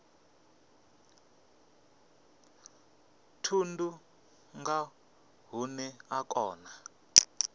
thundu nga hune a kona